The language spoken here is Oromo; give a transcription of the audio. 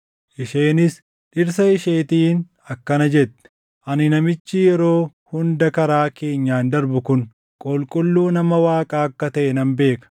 Isheenis dhirsa isheetiin akkana jette; “Ani namichi yeroo hunda karaa keenyaan darbu kun qulqulluu nama Waaqaa akka taʼe nan beeka.